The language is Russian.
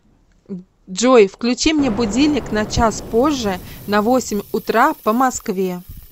джой включи мне будильник на час позже на восемь утра по москве